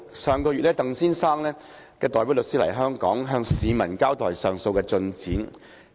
上月，鄧先生代表律師來港，向市民交代上訴進展。